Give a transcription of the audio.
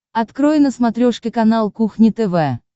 открой на смотрешке канал кухня тв